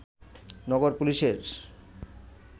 নগর পুলিশের